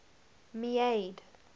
meade